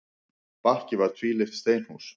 Bakki var tvílyft steinhús.